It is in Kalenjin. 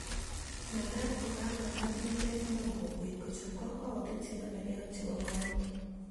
Makaat kokanap milet neo kokwet kochob kakwautik chenomegei ak chebo county